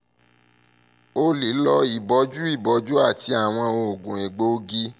o le lo iboju iboju ati awọn oogun egboogi